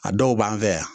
A dɔw b'an fɛ yan